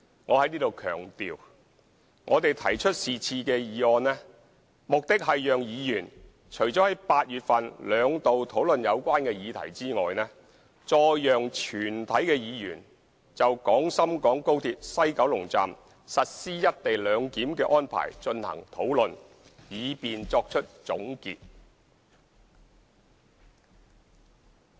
我在此強調，我們提出是項議案，目的是讓議員除了在8月份兩度討論有關議題外，再讓全體議員就廣深港高鐵西九龍站實施"一地兩檢"的安排進行討論，以便作出總結。